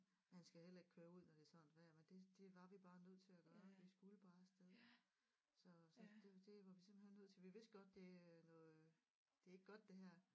Man skal heller ikke køre ud når det er sådan et vejr men det det var vi bare nødt til at gøre vi skulle bare af sted så så det det var vi simpelthen nødt til vi vidste godt det er noget det er ikke godt det her